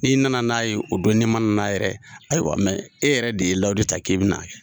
N'i nana n'a ye o bɛn, ni ma nan'a yɛrɛ ye ayiwa mɛ e yɛrɛ de ye layidu ta k'i bɛn'a kɛ.